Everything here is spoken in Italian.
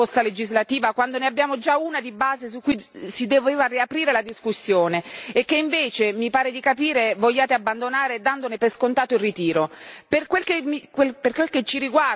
Perché volete, già da ora, chiedere una nuova proposta legislativa, quando ne abbiamo già una di base su cui si doveva riaprire la discussione e che invece, mi pare di capire, volete abbandonare, dandone per scontato il ritiro?